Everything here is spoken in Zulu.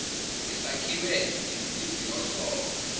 ngesakhiwe ngensimbi yohlobo